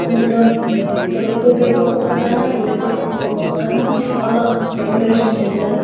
అందులోనే పెళ్లికూతురుకు ఒక పక్కన పెళ్ళికొడుకుకు ఒక పక్కన చాలా డెకరేషన్ చేశారు.